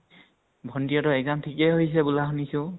ভন্টি হেতৰ exam থিকে হৈছো বুলা শুনিছো